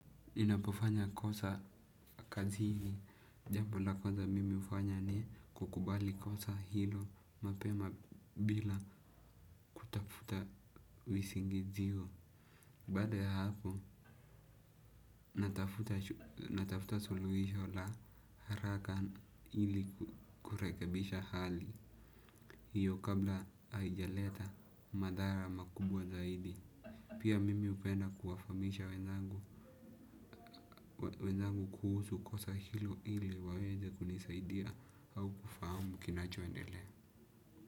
Ninapofanya kosa kazini jambo la kwaza mimi hufanya ni kukubali kosa hilo mapema bila kutafuta visingizio. Bada ya hapo, natafuta suluhisho la haraka ili kurekebisha hali. Hiyo kabla haijaleta madhara makubwa zaidi. Pia mimi hupenda kuwafahamisha wenzangu kuhusu kosa hilo ili waweze kunisaidia au kufahamu kinachoendele.